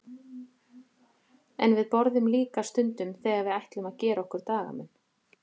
En við borðum líka stundum þegar við ætlum að gera okkur dagamun.